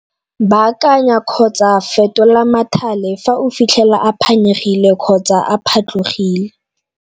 Baakanya kgotsa fetola mathale fa o fitlhela a phanyegile kgotsa a phatlogile.